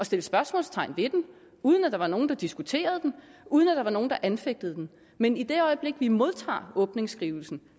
sætte spørgsmålstegn ved den uden at der var nogen der diskuterede den uden at der var nogen der anfægtede den men i det øjeblik vi modtager åbningsskrivelsen